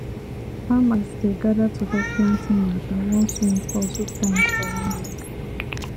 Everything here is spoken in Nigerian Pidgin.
farmers dey gather to talk planting matter once rain fall two times for one week